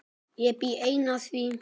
Ég bý enn að því.